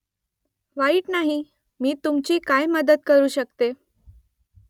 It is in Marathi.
वाईट नाही . मी तुमची काय मदत करू शकते ?